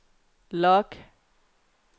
log